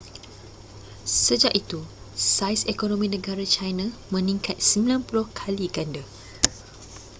sejak itu saiz ekonomi negara china meningkat 90 kali ganda